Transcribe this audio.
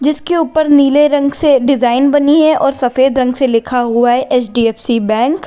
उसके ऊपर नीले रंग से डिजाइन बनी है और सफेद रंग से लिखा हुआ है एच_डी_एफ_सी बैंक ।